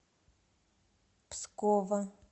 пскова